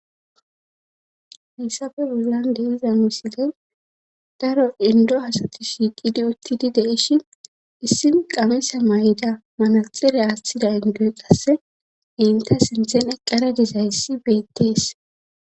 Hessa bollan deenza misile daro indo hasati shiiqidi uttidi deishi issin qamesa may7ida manaxire aaththida indo qasse inta sinthen eqqara dizayssi beettees.